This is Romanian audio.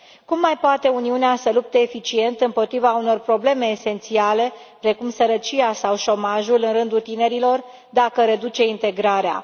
Cum mai poate Uniunea să lupte eficient împotriva unor probleme esențiale precum sărăcia sau șomajul în rândul tinerilor dacă reduce integrarea?